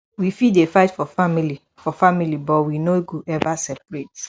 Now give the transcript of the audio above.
we fit dey fight for family for family but we no go ever separate